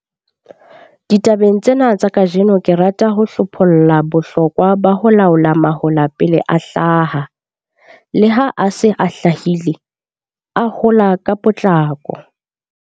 Ditabeng tsena tsa kajeno ke rata ho hlopholla bohlokwa ba ho laola mahola pele a hlaha, le ha a se a hlahile, a hola ka potlako.